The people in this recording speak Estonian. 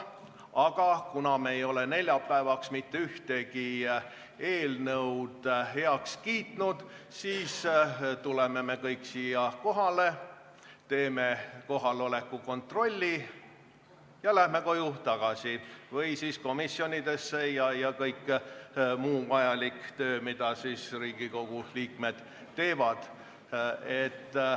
Aga kuna me ei ole neljapäevaks mitte ühtegi eelnõu heaks kiitnud, siis tuleme kõik siia kohale, teeme kohaloleku kontrolli ja läheme koju tagasi või suundume komisjonidesse ja asume muu vajaliku töö kallale, mida Riigikogu liikmed teevad.